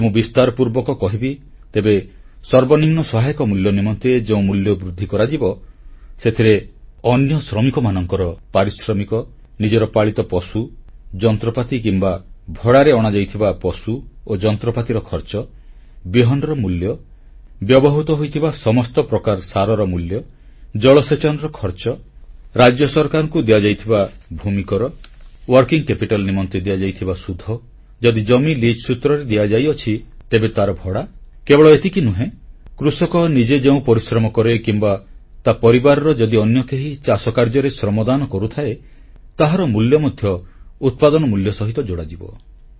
ଯଦି ମୁଁ ବିସ୍ତାର ପୂର୍ବକ କହିବି ତେବେ ସର୍ବନିମ୍ନ ସହାୟକ ମୂଲ୍ୟ ନିମନ୍ତେ ଯେଉଁ ମୂଲ୍ୟ ବୃଦ୍ଧି କରାଯିବ ସେଥିରେ ଅନ୍ୟ ଶ୍ରମିକମାନଙ୍କ ପାରିଶ୍ରମିକ ନିଜର ପାଳିତ ପଶୁ ଯନ୍ତ୍ରପାତି କିମ୍ବା ଭଡ଼ାରେ ଅଣାଯାଇଥିବା ପଶୁ ଓ ଯନ୍ତ୍ରପାତିର ଖର୍ଚ୍ଚ ବିହନର ମୂଲ୍ୟ ବ୍ୟବହୃତ ହୋଇଥିବା ସମସ୍ତ ପ୍ରକାର ସାରର ମୂଲ୍ୟ ଜଳସେଚନର ଖର୍ଚ୍ଚ ରାଜ୍ୟ ସରକାରଙ୍କୁ ଦିଆଯାଇଥିବା ଭୂମିକର କାର୍ଯ୍ୟକାରୀ ମୂଳଧନ ନିମନ୍ତେ ଦିଆଯାଇଥିବା ସୁଧ ଯଦି ଜମି ଲିଜ୍ ସୂତ୍ରରେ ଦିଆଯାଇଅଛି ତେବେ ତାର ଭଡ଼ା କେବଳ ଏତିକି ନୁହେଁ କୃଷକ ନିଜେ ଯେଉଁ ପରିଶ୍ରମ କରେ କିମ୍ବା ତା ପରିବାରର ଯଦି ଅନ୍ୟ କେହି ଚାଷକାର୍ଯ୍ୟରେ ଶ୍ରମଦାନ କରୁଥାଏ ତାହାର ମୂଲ୍ୟ ମଧ୍ୟ ଉତ୍ପାଦନ ମୂଲ୍ୟ ସହିତ ଯୋଡ଼ାଯିବ